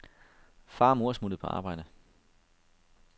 Far og mor er smuttet på arbejde.